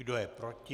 Kdo je proti?